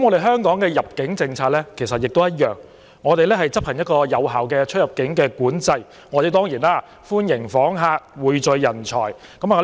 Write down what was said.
香港的入境政策也相同，我們執行有效的出入境管制，歡迎訪客，匯聚人才。